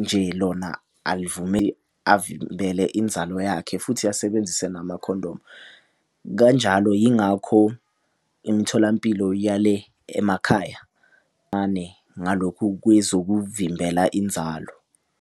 nje lona avimbele inzalo yakhe, futhi asebenzise namakhondomu Kanjalo yingakho imitholampilo yale emakhaya ngalokhu kwezokuvimbela inzalo.